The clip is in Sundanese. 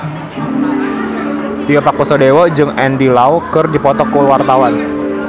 Tio Pakusadewo jeung Andy Lau keur dipoto ku wartawan